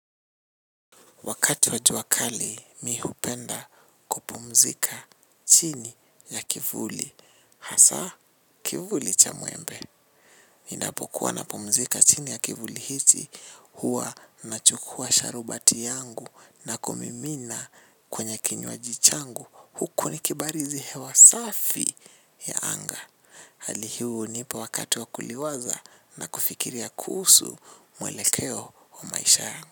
Wakati wa jua kali, mimi hupenda kupumzika chini ya kivuli. Hasa kivuli cha muembe. Ninapokuwa napumzika chini ya kivuli hichi, huwa nachukua sharubati yangu na kumimina kwenye kinywaji changu. Huku nikibarizi hewa safi ya anga. Hali hiyo hunipa wakati wa kuliwaza na kufikiria kuhusu muelekeo wa maisha yangu.